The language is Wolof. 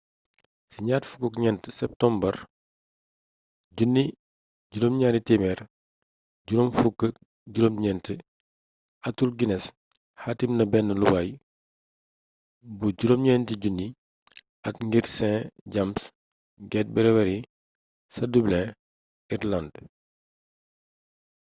ci 24 septumbar 1759 arthur guinness xaatim na benn luwaas bu 9 000 at ngir st james' gate brewery ci dublin ireland